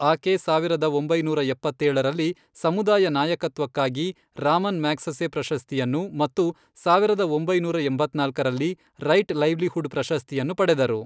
ಆಕೆ ಸಾವಿರದ ಒಂಬೈನೂರ ಎಪ್ಪತ್ತೇಳರಲ್ಲಿ, ಸಮುದಾಯ ನಾಯಕತ್ವಕ್ಕಾಗಿ ರಾಮನ್ ಮ್ಯಾಗ್ಸೆಸೆ ಪ್ರಶಸ್ತಿಯನ್ನು ಮತ್ತು ಸಾವಿರದ ಒಂಬೈನೂರ ಎಂಬತ್ನಾಲ್ಕರಲ್ಲಿ ರೈಟ್ ಲೈವ್ಲಿಹುಡ್ ಪ್ರಶಸ್ತಿಯನ್ನು ಪಡೆದರು.